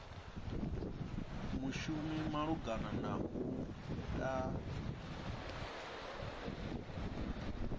mushumi malugana na u ta